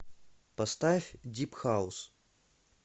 поставь дип хаус